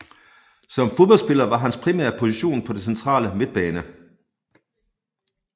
Som fodboldspiller var hans primære position på den centrale midtbane